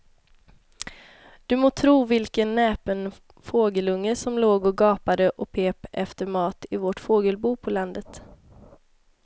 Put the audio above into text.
Du må tro vilken näpen fågelunge som låg och gapade och pep efter mat i vårt fågelbo på landet.